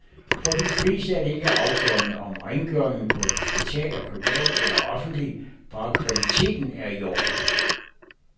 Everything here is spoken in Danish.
For de fleste er det ikke afgørende, om rengøringen på et hospital er privat eller offentlig, bare kvaliteten er i orden.